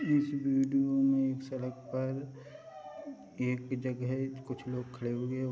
इस विडियो में एक सड़क पर एक जगह कुछ लोग खड़े हुए--